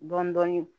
Dɔɔnin dɔɔnin